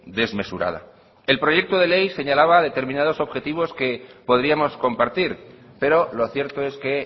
desmesurada el proyecto de ley señalaba determinados objetivos que podríamos compartir pero lo cierto es que